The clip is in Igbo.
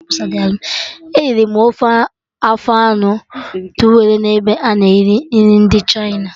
Eriri m ofe afọ anụ towelụ n'ebe a na-ere nri ndị Chịna